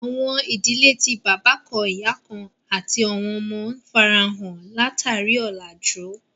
Àwọn idílẹ̀ tí baba kàn-ìyà kàn-àti àwọn ọmọ, n fáráhàn lá-tarí ọlájú